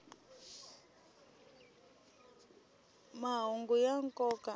mahungu ya nkoka a